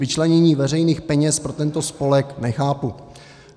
Vyčlenění veřejných peněz pro tento spolek nechápu.